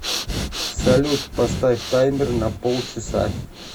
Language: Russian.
салют поставь таймер на пол часа